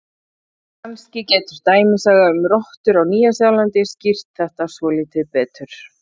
Kannski getur dæmisaga um rottur á Nýja-Sjálandi skýrt þetta svolítið betur: